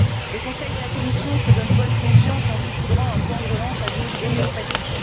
Le Conseil et la Commission se donnent bonne conscience en saupoudrant un plan de relance à dose homéopathique.